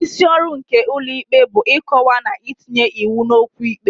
Isi ọrụ nke ụlọ ikpe bụ ịkọwa na itinye iwu n'okwu ikpe.